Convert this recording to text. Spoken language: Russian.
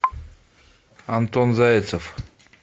антон зайцев